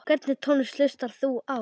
Hvernig tónlist hlustar þú á?